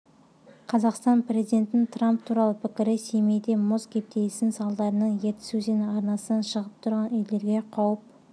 қазақстан президентінің трамп туралы пікірі семейде мұз кептелісінің салдарынан ертіс өзені арнасынан шығып тұрғын үйлерге қауіп